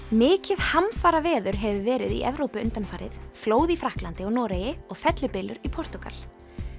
mikið hamfaraveður hefur verið í Evrópu undanfarið flóð í Frakklandi og Noregi og fellibylur í Portúgal